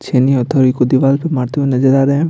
छेनी हथोड़ी को दीवाल पे मारते हुए नजर आ रहे हैं।